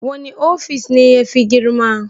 Wani ofis ne yafi girma?